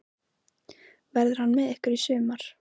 Verður hann með ykkur í sumar?